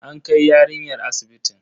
An kai yarinyar asibitin.